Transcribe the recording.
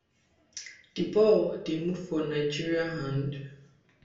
di ball dey move for nigeria hand